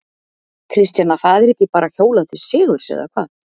Kristjana, það er ekki bara hjólað til sigurs eða hvað?